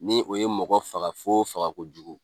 Ni o ye mɔgɔ faga fo faga kojugu.